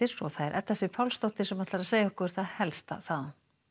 og það er Edda Sif Pálsdóttir sem ætlar að segja okkur það helsta þaðan